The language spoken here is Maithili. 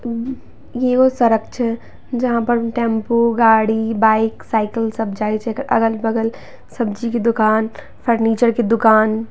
इ ओ सड़क छै टेंपो गाड़ी बाइक साइकिल सब जाए से अगल-बगल सब्जी के दुकान फर्नीचर के दुकान।